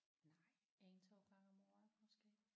Nej 1 2 gange om året måske